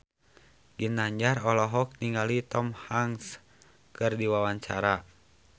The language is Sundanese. Ginanjar olohok ningali Tom Hanks keur diwawancara